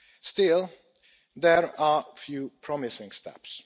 Still, there are a few promising steps.